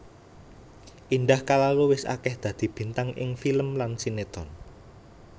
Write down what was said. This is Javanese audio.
Indah Kalalo wis akéh dadi bintang ing film lan sinetron